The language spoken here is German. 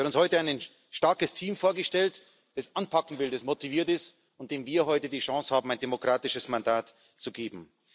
Sie hat uns heute ein starkes Team vorgestellt, das anpacken will, das motiviert ist, und wir haben heute die Chance, diesem Team ein demokratisches Mandat zu geben.